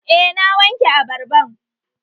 Eh na wanke abarban